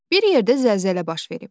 Bir yerdə zəlzələ baş verib.